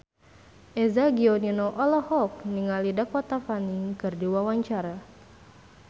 Eza Gionino olohok ningali Dakota Fanning keur diwawancara